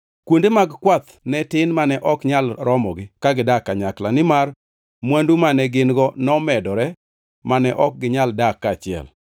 Kuonde mag kwath ne tin mane ok nyal romogi ka gidak kanyakla, nimar mwandu mane gin-go nomedore mane ok ginyal dak kaachiel.